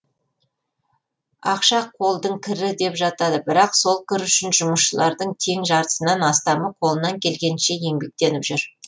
ақша қолдың кірі деп жатады бірақ сол кір үшін жұмысшылардың тең жартысынан астамы қолынан келгенінше еңбектеніп жүр